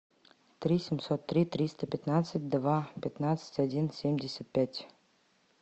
три семьсот три триста пятнадцать два пятнадцать один семьдесят пять